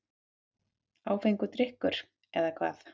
Áfengur drykkur, eða hvað?